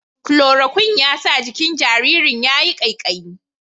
Kulorokwin ya sa jikin jaririn ya yi ƙaiƙayi.